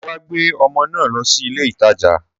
Sọ wà gbẹ ọmọ na lósì ìlé ìtàjá?